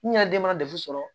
N yɛrɛ den mana datu sɔrɔ